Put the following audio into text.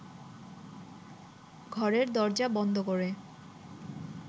ঘরের দরজা বন্ধ করে